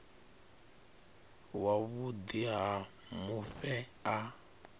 wa vhuḓi ha mufhe a